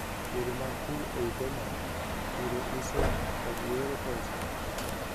yore mag pur ei kenya ; puro, uso, kod yore pesa